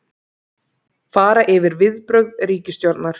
Fara yfir viðbrögð ríkisstjórnar